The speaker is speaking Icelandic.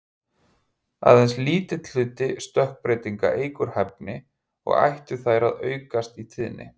Aðeins lítill hluti stökkbreytinga eykur hæfni, og ættu þær að aukast í tíðni.